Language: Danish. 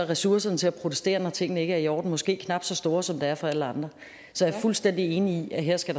ressourcerne til at protestere når tingene ikke er i orden måske knap så store som de er for alle andre så jeg er fuldstændig enig i at her skal